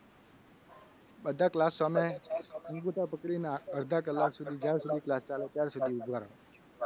બધા class સામે અંગૂઠા પકડીને અડધા કલાક સુધી જ્યાં સુધી class ચાલે ત્યાં સુધી અંગૂઠા પકડવાના